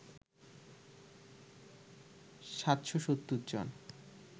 ৭৭০ জন